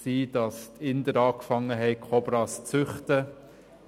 Die Inder begannen, Kobras zu züchten,